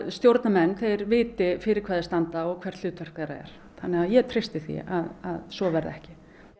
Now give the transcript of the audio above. stjórnarmenn viti fyrir hvað þeir standa og hvert hlutverk þeirra er þannig að ég treysti því að svo verði ekki